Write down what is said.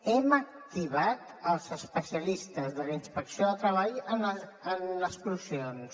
hem activat els especialistes de la inspecció de treball en explosions